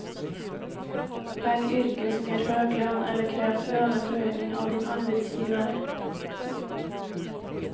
Välj yrken som ger hög lön eller kräv löneförhöjning av din arbetsgivare.